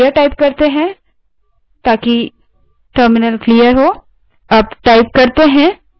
terminal पर जाएँ terminal को clear करने के लिए clear type करें